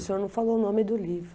O senhor não falou o nome do livro.